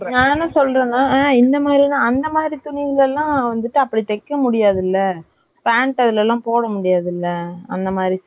நான் என்ன சொல்லுறேன்னா, ம்ம் இந்த மாதிரியே தான், அந்த மாதிரி துணியிலல்லாம் வந்துட்டு அப்படி தைக்க முடியாது இல்ல, pant அதுலலாம் போட முடியாதுல்ல.